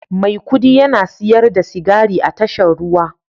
Maikudi yana siyar da sigari a tashar ruwa